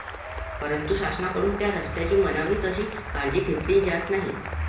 परंतु, शासनाकडून त्या रस्त्यांची म्हणावी तशी काळजी घेतली जात नाही.